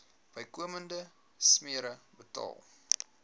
bykomende smere betaal